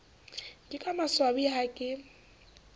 ke ka maswabi ha ke